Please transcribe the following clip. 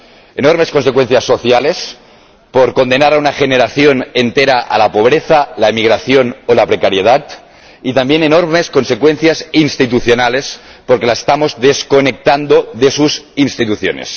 enormes consecuencias sociales, por condenar a una generación entera a la pobreza, la emigración o la precariedad y también enormes consecuencias institucionales, porque la estamos desconectando de sus instituciones.